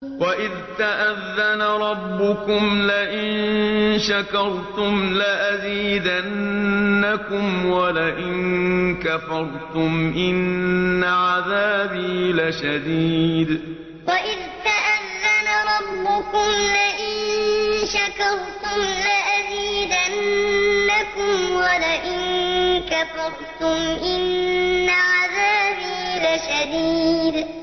وَإِذْ تَأَذَّنَ رَبُّكُمْ لَئِن شَكَرْتُمْ لَأَزِيدَنَّكُمْ ۖ وَلَئِن كَفَرْتُمْ إِنَّ عَذَابِي لَشَدِيدٌ وَإِذْ تَأَذَّنَ رَبُّكُمْ لَئِن شَكَرْتُمْ لَأَزِيدَنَّكُمْ ۖ وَلَئِن كَفَرْتُمْ إِنَّ عَذَابِي لَشَدِيدٌ